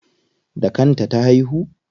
Da kan ta ta haihu?